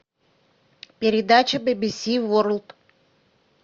передача бибиси ворлд